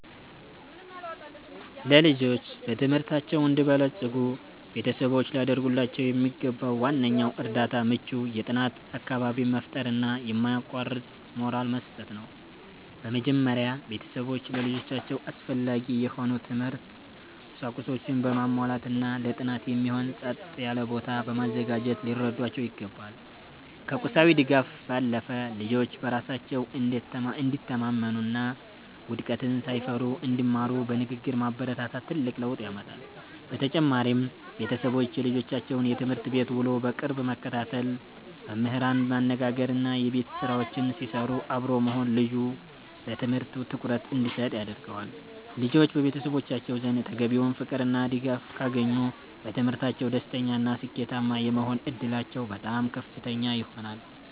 ልጆች በትምህርታቸው እንዲበለጽጉ ቤተሰቦች ሊያደርጉላቸው የሚገባው ዋነኛው እርዳታ ምቹ የጥናት አካባቢን መፍጠርና የማያቋርጥ ሞራል መስጠት ነው። በመጀመሪያ፣ ቤተሰቦች ለልጆቻቸው አስፈላጊ የሆኑ የትምህርት ቁሳቁሶችን በማሟላትና ለጥናት የሚሆን ጸጥ ያለ ቦታ በማዘጋጀት ሊረዷቸው ይገባል። ከቁሳዊ ድጋፍ ባለፈ፣ ልጆች በራሳቸው እንዲተማመኑና ውድቀትን ሳይፈሩ እንዲማሩ በንግግር ማበረታታት ትልቅ ለውጥ ያመጣል። በተጨማሪም፣ ቤተሰቦች የልጆቻቸውን የትምህርት ቤት ውሎ በቅርብ መከታተል፣ መምህራንን ማነጋገርና የቤት ስራቸውን ሲሰሩ አብሮ መሆን ልጁ ለትምህርቱ ትኩረት እንዲሰጥ ያደርገዋል። ልጆች በቤተሰቦቻቸው ዘንድ ተገቢውን ፍቅርና ድጋፍ ካገኙ፣ በትምህርታቸው ደስተኛና ስኬታማ የመሆን ዕድላቸው በጣም ከፍተኛ ይሆናል።